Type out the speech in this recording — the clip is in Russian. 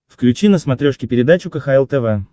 включи на смотрешке передачу кхл тв